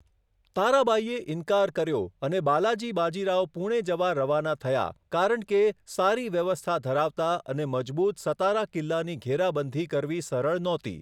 તારાબાઈએ ઈન્કાર કર્યો અને બાલાજી બાજી રાવ પુણે જવા રવાના થયા કારણ કે સારી વ્યવસ્થા ધરાવતા અને મજબૂત સતારા કિલ્લાની ઘેરાબંધી કરવી સરળ નહોતી.